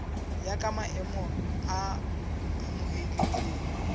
ya ka maemo a amohelehileng